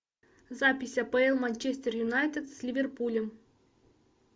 запись апл манчестер юнайтед с ливерпулем